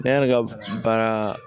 Ne y'ale ka baara